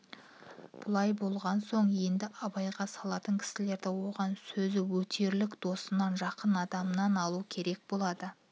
бұлай болған соң енді абайға салатын кісілерді оған сөзі өтерлік досынан жақын адамынан алу керек болады